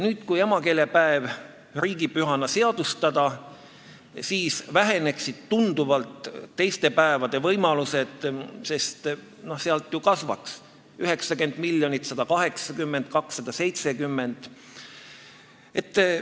Kui emakeelepäev riigipühana seadustada, siis väheneksid tunduvalt teiste päevade võimalused, sest summa ju kasvaks: 90 miljonit, 180 miljonit, 270 miljonit.